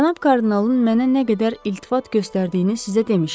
Cənab kardinalın mənə nə qədər iltifat göstərdiyini sizə demişəm.